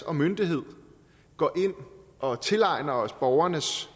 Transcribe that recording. og myndighed går ind og tilegner os borgernes